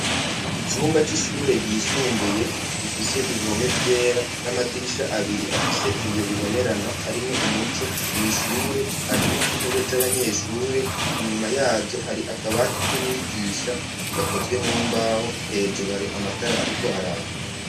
Icumba c'ishure ryisumbuye gifise ibihome vyera n'amadirisha abiri afise ibiyo bibonerana, harimwo umuco mwishure ,harimwo intebe z'abanyeshure, inyuma yazo hari akabaati kumwigisha gakozwe mumbaho ,hejuru hari amatara ariko araka.